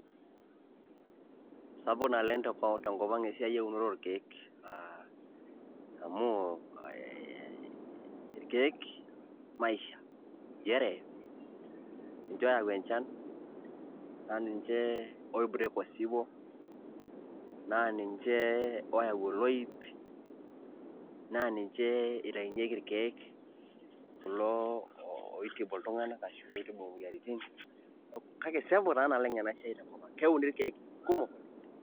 Sapuk naleng' tenkop aang' eunore oorkeek amu irkeek maisha, injere inje oyau enjan, naa ninje oibreak osiwuo, naa ninje oyau oloip, naa ninje itainyieki irkeek kulo oitibu iltung'anak ashu oitibu imoyiaritin, kake sapuk taa naleng' ena siai tenkop ang' keuni irkeek kumok.